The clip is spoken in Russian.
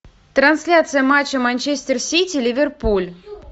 трансляция матча манчестер сити ливерпуль